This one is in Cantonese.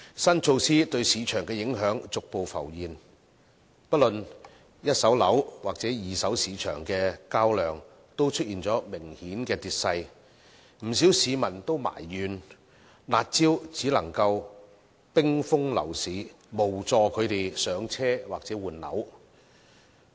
新措施對市場的影響逐步浮現，不論一手樓或二手市場的交投量均出現明顯的跌勢，不少市民埋怨，"辣招"只能冰封樓市，無助他們"上車"或換樓。